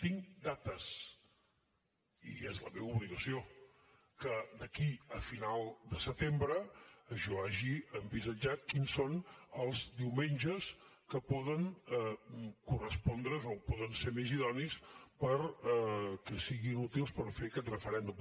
tinc dates i és la meva obligació que d’aquí a final de setembre jo hagi envisatjat quins són els diumenges que poden correspondre’s o poden ser més idonis perquè siguin útils per fer aquest referèndum